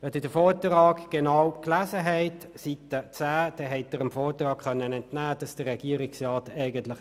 Seite 10 des Vortrags ist zu entnehmen, dass der Regierungsratsrat